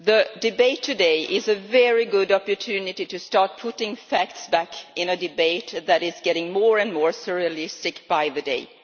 Mr President, the debate today is a very good opportunity to start putting facts back in a debate that is getting more and more surrealistic by the day.